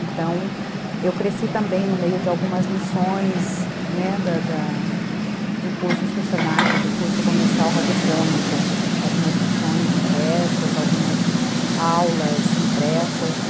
Então, eu cresci também no meio de algumas lições , né, da da de cursos que o se na que, do curso comercial radiofônico, algumas lições impressas, algumas aulas impressas.